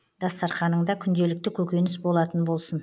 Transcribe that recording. дастарқаныңда күнделікті көкөніс болатын болсын